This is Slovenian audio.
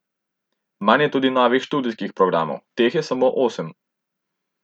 Manj je tudi novih študijskih programov, teh je samo osem.